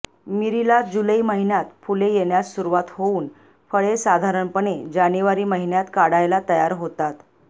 मिरीला जुलै महिन्यात फुले येण्यास सुरुवात होऊन फळे साधारणपणे जानेवारी महिन्यात काढायला तयार होतात